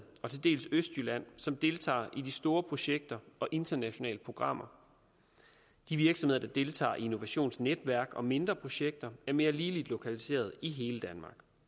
og til dels østjylland som deltager i de store projekter og internationale programmer de virksomheder der deltager i innovationsnetværk og mindre projekter er mere ligeligt lokaliseret i hele